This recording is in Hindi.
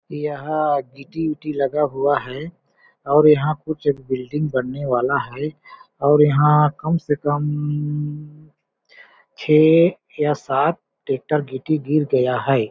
यहाँ गिट्टी-उट्टी लगा हुआ है और यहाँ कुछ बिल्डिंग बनने वाला है और यहाँ कम से कम छे या सात टेटर गिट्टी गिर गया हैं।